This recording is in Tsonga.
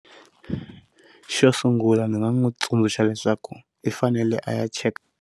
Xo sungula ndzi nga n'wi tsundzuxa leswaku i fanele a ya cheka.